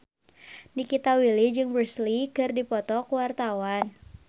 Nikita Willy jeung Bruce Lee keur dipoto ku wartawan